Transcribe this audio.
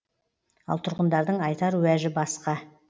ал тұрғындардың айтар уәжі басқа